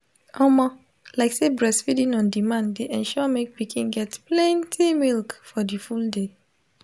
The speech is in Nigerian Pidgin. omo lyk say breastfeeding on demand de ensure make pikin get plenty milk for the full day